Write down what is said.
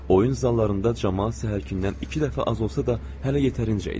Oyun zallarında camaat səhərkindən iki dəfə az olsa da, hələ yetərincə idi.